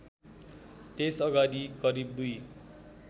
त्यसअगाडि करिब दुई